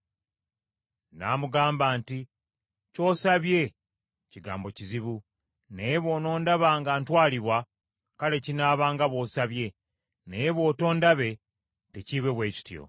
N’amugamba nti, “Ky’osabye kigambo kizibu, naye bw’onondaba nga ntwalibwa, kale kinaaba nga bw’osabye, naye bw’otondabe tekiibe bwe kityo.”